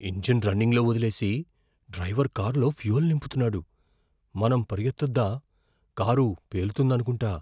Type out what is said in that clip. Engine రన్నింగ్లో వదిలేసి driver కారులో ఫ్యూయల్ నింపుతున్నాడు. మనం పరుగెత్తొద్దా? కారు పేలుతుందనుకుంటా.